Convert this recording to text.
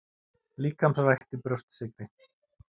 Líkamsrækt í Brjóstsykri